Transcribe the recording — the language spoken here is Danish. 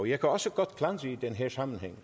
jeg kan også godt i den her sammenhæng